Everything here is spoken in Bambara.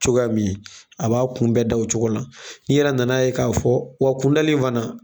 Cogoyamin a b'a kun bɛɛ da o cogo la n'i yɛrɛ nana ye k'a fɔ wa kundali in fana